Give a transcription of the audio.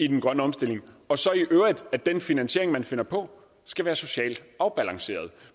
den grønne omstilling og at den finansiering som man finder på skal være socialt afbalanceret